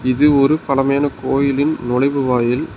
இது ஒரு பழமையான கோயிலின் நுழைவு வாயில்.